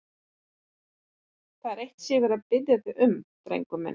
Það er eitt sem ég verð að biðja þig um, drengurinn minn.